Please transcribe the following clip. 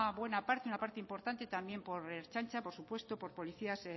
buena parte una parte importante también por la ertzaintza por supuesto por policías